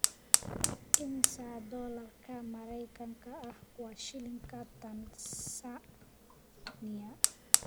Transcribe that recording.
Immisa doolarka Mareykanka ah waa shilinka Tansaaniya?